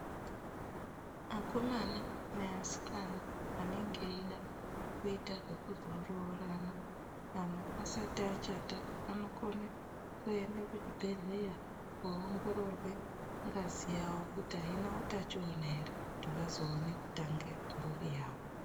Akomana neasikana anenge eida kuita zvekuzoroorana asati achata anokone kuenda kuchibhedhleya koongorerwe ngazi yawo kuti aina utachiwana ere kuti vazoone kutanga mburi yavo.